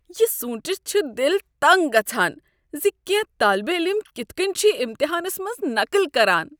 یہ سوٗنٛچتھ چھ دل تنٛگ گژھان ز کٮ۪نٛہہ طٲلبہ علم کتھ کٔنۍ چھ امتہانس منٛز نقٕل کران۔